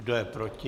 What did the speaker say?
Kdo je proti?